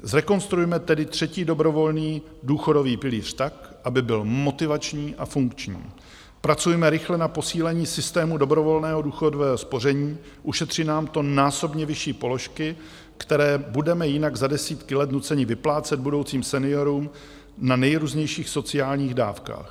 Zrekonstruujme tedy třetí dobrovolný důchodový pilíř tak, aby byl motivační a funkční, pracujme rychle na posílení systému dobrovolného důchodového spoření, ušetří nám to násobně vyšší položky, které budeme jinak za desítky let nuceni vyplácet budoucím seniorům na nejrůznějších sociálních dávkách.